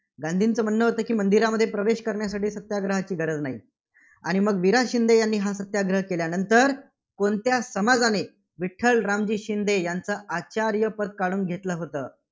गांधींचं म्हणणं होतं, की मंदिरामध्ये प्रवेश करण्यासाठी सत्याग्रहाची गरज नाही. आणि मग वि. रा. शिंदे यांनी हा सत्याग्रह केल्यानंतर कोणत्या समाजाने विठ्ठल रामजी शिंदे यांचं आचार्यपद काढून घेतलं होतं?